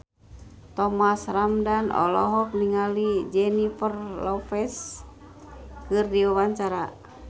Thomas Ramdhan olohok ningali Jennifer Lopez keur diwawancara